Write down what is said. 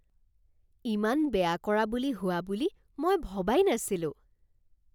ইমান বেয়া কৰা বুলি হোৱা বুলি মই ভবাই নাছিলোঁ